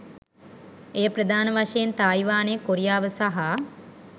එය ප්‍රධාන වශයෙන් තායිවානය, කොරියාව සහ